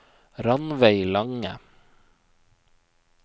Ranveig Lange